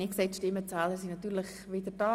Die Stimmenzähler sind wieder da.